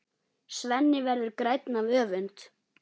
Svenni verður grænn af öfund.